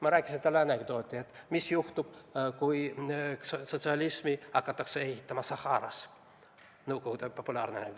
Ma rääkisin talle anekdoodi selle kohta, mis juhtuks siis, kui Saharas hakataks ehitama sotsialismi – Nõukogude ajal populaarne anekdoot.